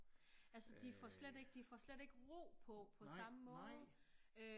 Altså de får slet ikke de får slet ikke ro på på samme måde